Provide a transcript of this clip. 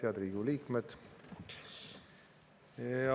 Head Riigikogu liikmed!